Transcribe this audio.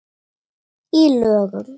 Í lögum